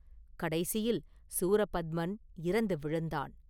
கடைசியில் சூரபத்மன் இறந்து விழுந்தான்.